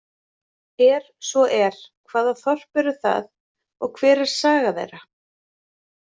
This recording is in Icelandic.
Er svo er, hvaða þorp eru það og hver er saga þeirra?